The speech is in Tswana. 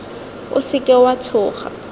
o se ka wa tshoga